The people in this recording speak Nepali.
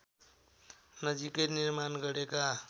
नजिकै निर्माण गरेका